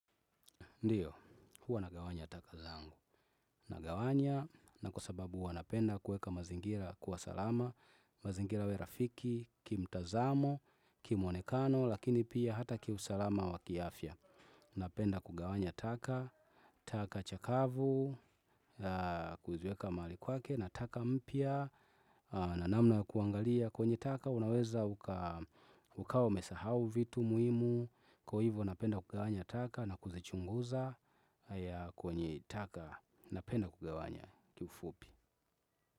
Ndiyo, huwa nagawanya taka zangu. Nagawanya na kwa sababu huwa napenda kuweka mazingira kuwa salama, mazingira iwe rafiki, kimtazamo, kimwonekano, lakini pia hata kiusalama wakiafya. Napenda kugawanya taka, taka chakavu, kuziweka mahali kwake, na taka mpya, na namna kuangalia kwenye taka, unaweza ukawa umesahau vitu muhimu, kwa hivyo napenda kugawanya taka na kuzichunguza kwenye taka, napenda kugawanya kiufupi.